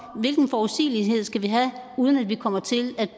hvilken forudsigelighed vi skal have uden at vi kommer til at